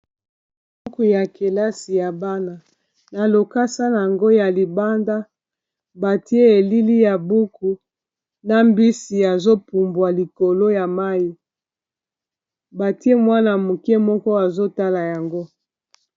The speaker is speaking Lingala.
Buku ya kelasi ya bana na lokasa yango ya libanda batie elili ya buku na mbisi azopumbwa likolo ya mayi batie mwana-moke moko azotala yango